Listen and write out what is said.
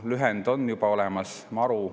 Lühend on juba olemas, MaRu.